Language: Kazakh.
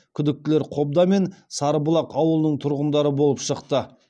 күдіктілер қобда мен сарыбұлақ ауылының тұрғындары болып шықты